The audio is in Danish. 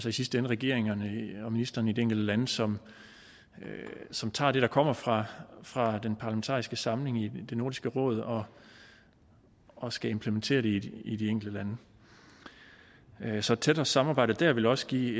i sidste ende regeringerne og ministrene i de enkelte lande som som tager det der kommer fra fra den parlamentariske samling i nordisk råd og og skal implementere det i de enkelte lande så et tættere samarbejde der ville også give